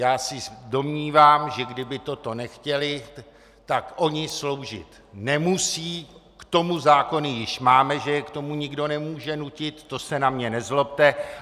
Já se domnívám, že kdyby toto nechtěli, tak oni sloužit nemusí, k tomu zákony již máme, že je k tomu nikdo nemůže nutit, to se na mě nezlobte.